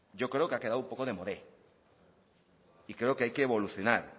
yo creo que ha quedado un poco demodé y creo que hay que evolucionar